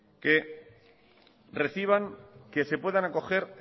que se puedan acoger